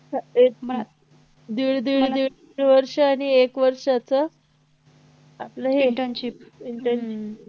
एक नाहि दीड दीड दीड वर्ष आणि एक वर्षाचं आपलं हे internship